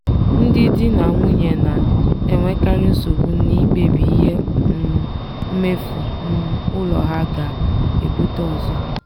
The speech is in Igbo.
ndị di na nwunye na-enwekarị nsogbu n'ikpebi ihe um mmefu um ụlọ ha ga-ebute ụzọ.